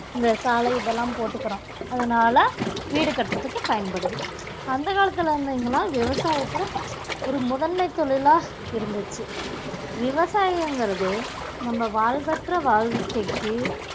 இந்த சாலை இதெல்லாம் போட்டுக்குறோம் அதனால வீடு கட்டுறதுக்கு பயன்படுது அந்த காலத்துல இருந்தீங்கன்னா விவசாயத்துல ஒரு முதன்மை தொழிலா இருந்துச்சு விவசாயங்கறது நம்ம வாழ்வற்ற வாழ்கைக்கு